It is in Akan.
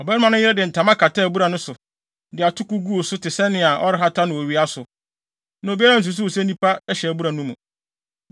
Ɔbarima no yere de ntama kataa abura no so, de atoko guu so te sɛnea ɔrehata no owia so, na obiara ansusuw sɛ nnipa hyɛ abura no mu.